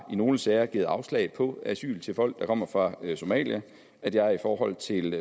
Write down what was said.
nogle sager har givet afslag på asyl til folk der kommer fra somalia og at jeg i forhold til